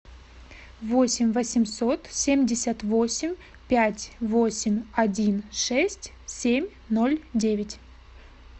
восемь восемьсот семьдесят восемь пять восемь один шесть семь ноль девять